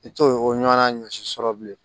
I t'o o ɲɔgɔnna ɲɔsi sɔrɔ bilen